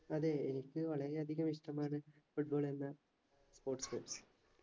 അതെ എനിക്ക് വളരെ അധികം ഇഷ്ട്ടമാണ് football എന്ന sports